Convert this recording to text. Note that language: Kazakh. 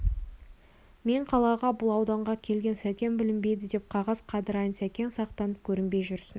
мен қалаға бұл ауданға келген сәкен білінбейді деп қағаз қайырайын сәкен сақтанып көрінбей жүрсін